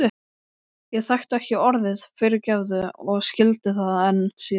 Ég þekkti ekki orðið fyrirgefðu og skildi það enn síður.